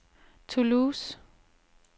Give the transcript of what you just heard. Toulouse